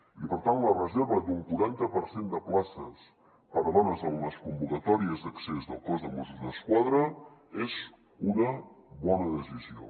i per tant la reserva d’un quaranta per cent de places per a dones en les convocatòries d’accés al cos de mossos d’esquadra és una bona decisió